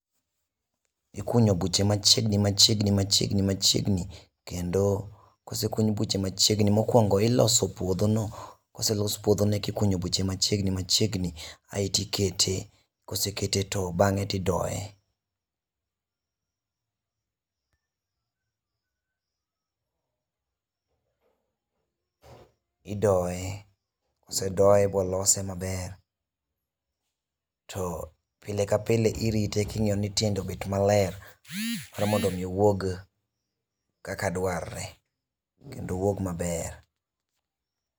Ikunyo buche machiegni machiegni machiegni machiengi kendo kosekuny buche machiegni mokuongo iloso puodho no koselos puodho eka ikunyo buche machiegni machiegni aito ikete, kosekete aito bang'e to idoye idoye, kosedoye molose maber to pile ka pile irite kingiyo ni tiende obet maler koro mondo wuog kaka dwar re kendo owuog maber